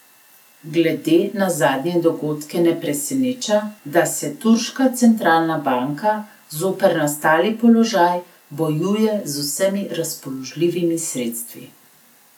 Glede na zadnje dogodke ne preseneča, da se turška centralna banka zoper nastali položaj bojuje z vsemi razpoložljivimi sredstvi.